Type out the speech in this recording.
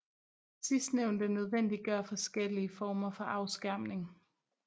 Sidstnævnte nødvendiggør forskellige former for afskærmning